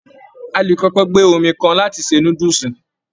A le kọkọ gbé omi kan láti ṣe núdúsí.